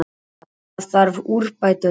Það þarf úrbætur þar.